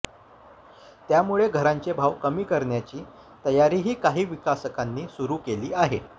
त्यामुळे घरांचे भाव कमी करण्याची तयारीही काही विकासकांनी सुरू केली आहे